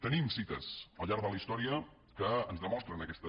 tenim cites al llarg de la història que ens demostren aquesta